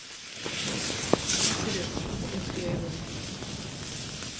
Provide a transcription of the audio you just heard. Hann lítur upp og beint í augu mín.